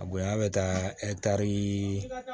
A bonya bɛ taa ɛtari